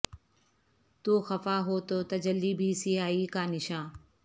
تو خفا ہو تو تجلی بھی سیاہی کا نشاں